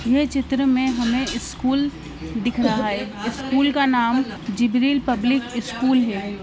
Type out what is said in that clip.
ये चित्र में हमें स्कूल दिख रहा है स्कूल का नाम जिब्रील पब्लिक स्कूल है।